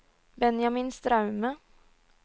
Benjamin Straume